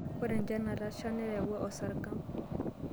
Ore enchan natasha neyawua esarng'ab.